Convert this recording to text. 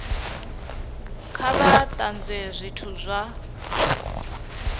kha vha tanzwe zwithu zwa